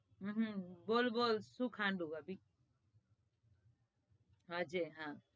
હમ હમમ બોલ બોલ શું ખાવાનું ભાભી સોજે